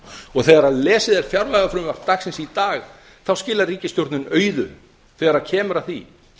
og þegar fjárlagafrumvarp dagsins í dag er lesið skilar ríkisstjórnin auðu þegar kemur að því